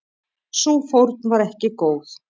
Sú fórn var ekki góð.